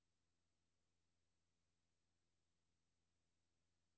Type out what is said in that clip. Med grove effekter havde han arrangeret en russisk melodi.